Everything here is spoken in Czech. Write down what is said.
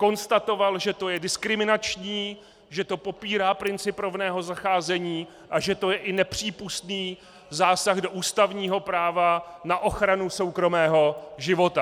Konstatoval, že to je diskriminační, že to popírá princip rovného zacházení a že to je i nepřípustný zásah do ústavního práva na ochranu soukromého života.